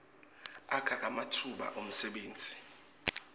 akha ematfuba emsebenti